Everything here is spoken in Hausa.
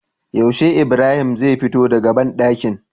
Yaushe ibrahim zai fito daka banɗakin?